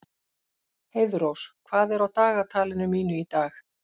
Heiðrós, hvað er á dagatalinu mínu í dag?